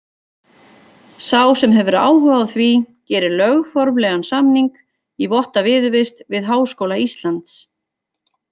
Sá sem hefur áhuga á því gerir lögformlegan samning í votta viðurvist við Háskóla Íslands.